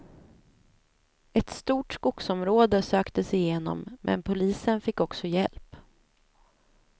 Ett stort skogsområde söktes igenom, men polisen fick också hjälp.